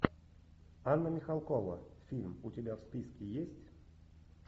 анна михалкова фильм у тебя в списке есть